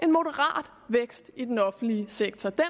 moderat vækst i den offentlige sektor den